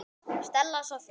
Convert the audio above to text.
Stella Soffía.